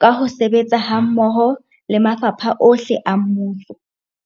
ka ho sebetsa hammoho le mafapha ohle a mmuso.